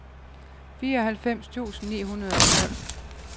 fireoghalvfems tusind ni hundrede og tolv